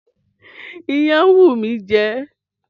Iyán ń wù mí jẹ